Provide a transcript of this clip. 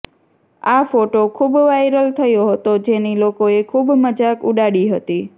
આ ફોટો ખુબ વાયરલ થયો હતો જેની લોકોએ ખુબ મજાક ઉડાડી હતી